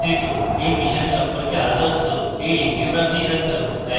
এই মিশন সম্পর্কে আরো তথ্য এই লিঙ্কে প্রাপ্তিসাধ্য: